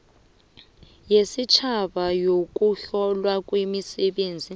yesitjhaba yokuhlolwa kwemisebenzi